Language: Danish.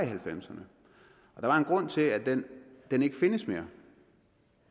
halvfemserne der er en grund til at den ikke findes mere